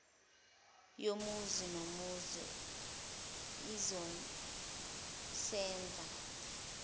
yomuzi nomuzi izosenza